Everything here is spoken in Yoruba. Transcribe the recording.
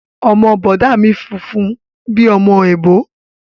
Ọmọ bọ̀dá mi funfun ni bíi ọmọ èbó